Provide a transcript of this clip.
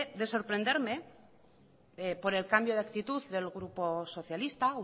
de sorprenderme por el cambio de actitud del grupo socialista